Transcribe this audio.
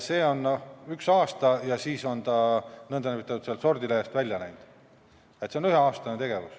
See on seal ühe aasta ja siis on ta sealt sordilehelt n-ö välja läinud, nii et see on üheaastane tegevus.